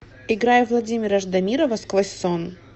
играй владимира ждамирова сквозь сон